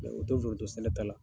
Mɛ o tɛ foronto sɛnɛ la